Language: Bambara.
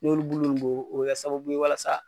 N'olu bulu mun bɔ o bɛ kɛ sababu ye walasa.